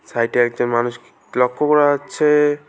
সাইডে একজন মানুষকে লক্ষ করা যাচ্ছে।